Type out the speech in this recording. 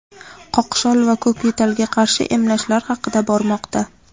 qoqshol va ko‘kyo‘talga qarshi emlashlar haqida bormoqda.